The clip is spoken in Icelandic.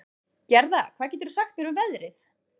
Gerða, hvað geturðu sagt mér um veðrið?